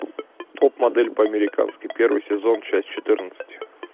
топ модель по американски первый сезон часть четырнадцать